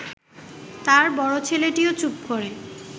তাঁর বড় ছেলেটিও চুপ করে